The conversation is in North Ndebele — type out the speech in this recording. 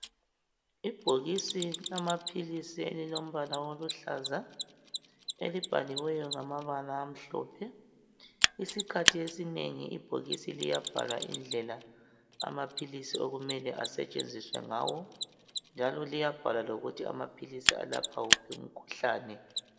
Ibhokisi lamaphilisi elilombala oluhlaza, elibhaliweyo ngamabala amhlophe. Isikhathi esinengi ibhokisi liyabhalwa indlela amaphilisi okumele asetshenziswe ngayo, njalo liyabhalwa lokuthi amaphilisi alapha wuphi umkhuhlane.